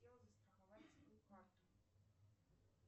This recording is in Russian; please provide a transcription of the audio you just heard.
хотела застраховать свою карту